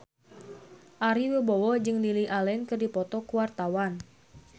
Ari Wibowo jeung Lily Allen keur dipoto ku wartawan